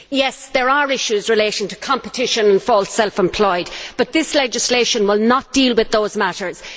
Yes, there are issues relating to competition for self employed, but this legislation will not deal with those matters.